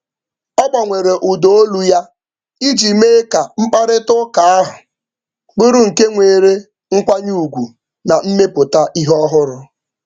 Ọ gbanwere ụda olu ya iji mee ka mkparịtaụka ahụ bụrụ nke nwere nkwanye ugwu na mmepụta ihe ọhụrụ.